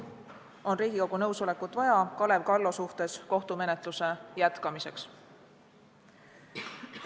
Riigikogu nõusolekut on vaja Kalev Kallo suhtes kohtumenetluse jätkamiseks.